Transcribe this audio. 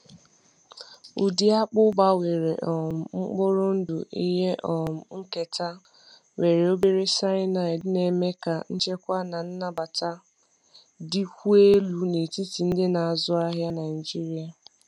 Ụdị akpụ gbanwere um mkpụrụ ndụ ihe um nketa nwere obere cyanide na-eme ka nchekwa na nnabata dịkwuo elu n’etiti ndị na-azụ ahịa Naijiria.